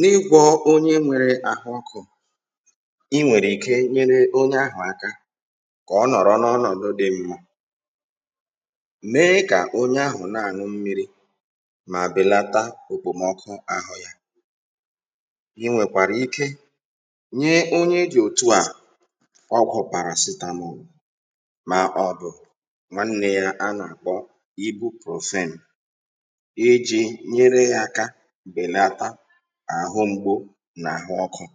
N’íkwọ́ onye nwèrè ahụ́ ọkụ́ ị nwere ike inyere onye ahụ̀ aka site n’ịdị̀ ya n’ọnọdụ dị̀ mma nye ya mmírī íṅụ um ma belata òkpòmọ́kụ́ ahụ́ ya. Ị nwekwara ike inye onye ahụ̀ nri dị̀ mfe ma juputara n’ìbụ̀ protein dịká agwa ma ọ bụ̀ àkụ̀.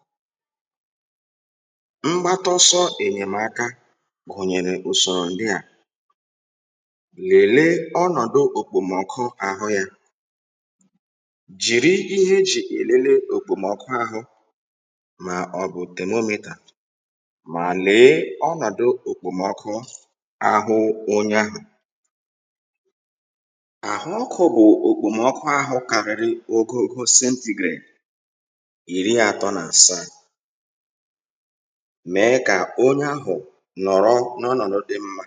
Ụzọ enyémáka ọzọ bụ ilekọta òkpòmọ́kụ́ ahụ́ onye ahụ̀ site n’iji temomẹ́tà ma ọ bụ̀ ihe ọ bụla a na-eji atụ̀ òkpòmọ́kụ́. Ọ bụrụ́ na òkpòmọ́kụ́ ahụ́ dị n’etiti iri atọ na asaa ogo rịdị̀ Celsius ruo iri atọ na asatọ ogo rịdị̀ Celsius hụ́ na onye ahụ̀ nọ̀rọ̀ n’ọnọdụ dị mma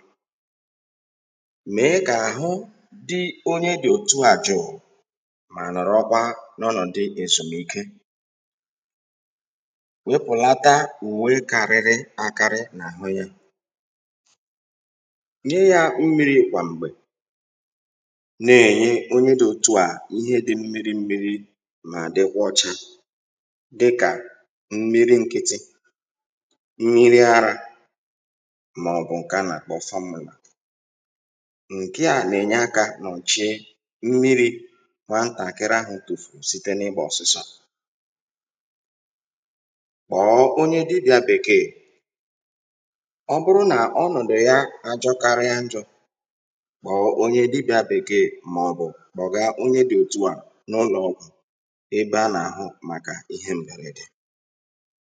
ma nwee ezùmìke zuru oke. Wepụ̀ uwe ndị dị arọ́ n’ahụ́ ya ma nye ya mmírī ugboro ugboro. Mmírī ahụ́ nwere ike ịbụ mmírī dị ọ́cha mmírī ara ma ọ bụ̀ nke a na-akpọ fọ́múlà um nke na-enyere aka dochie mmírī ahụ́ nwantakịrị furu site n’ahụ́ ọkachasị n’aka ụmụaka. Ọ bụrụ́ na ọnọdụ onye ahụ̀ ghọọ̀wanye njọ́ gawa kpọrọ dọ́kịta ma ọ bụ̀ nye ya n’aka onye nlekọta ahụ́ íké ozugbo.